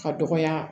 Ka dɔgɔya